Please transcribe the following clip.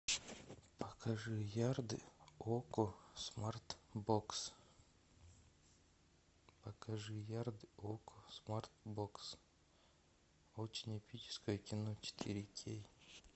покажи ярды окко смарт бокс покажи ярды окко смарт бокс очень эпическое кино четыре кей